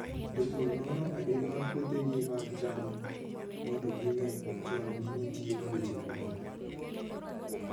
Jopur nono adimba puothegi mag cham mondo ging'e chon ni nitie tuoche moko.